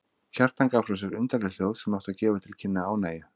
Kjartan gaf frá sér undarleg hljóð sem áttu að gefa til kynna ánægju.